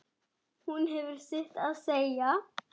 Hún hefur sitt að segja.